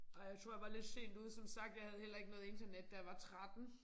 Ej jeg tror jeg var lidt sent ude som sagt jeg havde heller ikke noget internet da jeg var 13